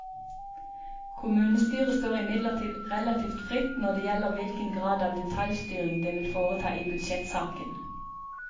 Kommunestyret står imidlertid relativt fritt når det gjelder hvilken grad av detaljstyring det vil foreta i budsjettsaken.